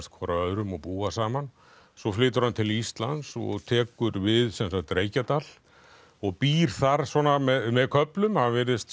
hvor af öðrum og búa saman svo flytur hann til Íslands og tekur við Reykjadal og býr þar svona með köflum hann virðist